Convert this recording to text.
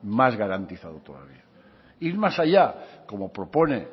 más garantizado todavía ir más allá como propone